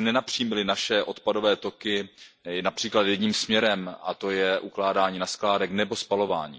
nenapřímili naše odpadové toky například jedním směrem, a to je ukládání na skládky nebo spalování.